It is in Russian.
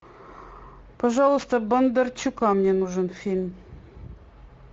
пожалуйста бондарчука мне нужен фильм